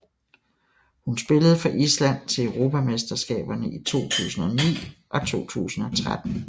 Hun spillede for Island til europamesterskaberne i 2009 og 2013